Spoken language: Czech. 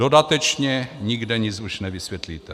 Dodatečně nikde nic už nevysvětlíte.